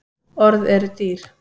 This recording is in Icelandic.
Orð eru dýr